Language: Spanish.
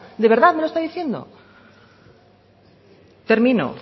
de verdad me lo está diciendo termino